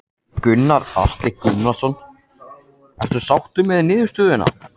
Gunnar Atli Gunnarsson: Ertu sáttur með niðurstöðuna?